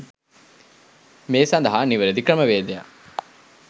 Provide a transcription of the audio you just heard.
මේ සඳහා නිවැරැදි ක්‍රමවේදයක්